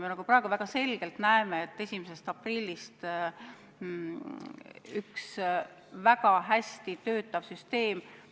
Me praegu väga selgelt näeme, et 1. aprillist saab üks väga hästi töötav süsteem häiritud.